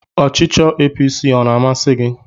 Ọchịchọ APC ọ na-amasi gị?